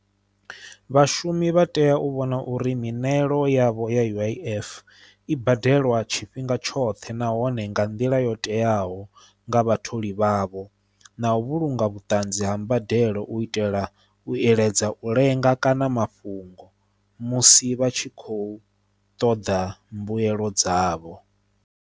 Vhashumi vha tea u vhona uri miṋwell yavho ya U_I_F i badelwa tshifhinga tshoṱhe nahone nga nḓila yo teaho nga vhatholi vhavho na u vhulunga vhutanzi ha mbadelo u itela u iledza u lenga kana mafhungo musi vha tshi kho ṱoḓa mbuelo dzavho.